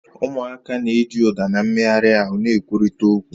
Ụmụaka na-eji ụda na mmegharị ahụ na-ekwurịta okwu